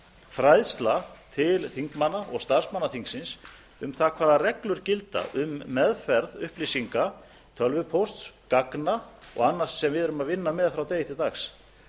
fræðsla til þingmanna og starfsmanna þingsins um það hvaða reglur gilda um meðferð upplýsinga tölvupósts gagna og annars sem við erum að vinna með frá degi til dags